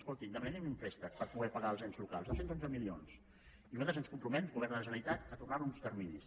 escolti demanem los un préstec per poder pagar els ens locals dos cents i onze milions i nosaltres ens comprometem govern de la generalitat a tornar ho amb uns terminis